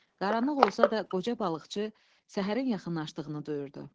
Qaranlıq olsa da, qoca balıqçı səhərin yaxınlaşdığını duyurdu.